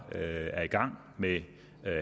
er i gang med